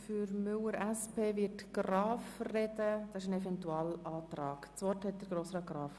Für den Eventualantrag Müller/SP-JUSO-PSA spricht Grossrat Graf.